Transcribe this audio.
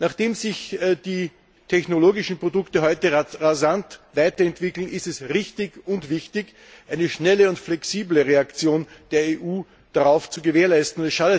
Da sich die technologischen Produkte heute rasant weiterentwickeln, ist es richtig und wichtig, eine schnelle und flexible Reaktion der EU darauf zu gewährleisten.